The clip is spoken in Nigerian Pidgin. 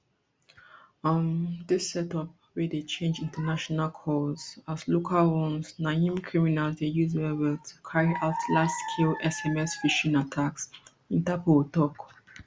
um dis setup wey dey change international calls as local ones na im criminals dey use wellwell to carry out largescale sms phishing attacks interpol tok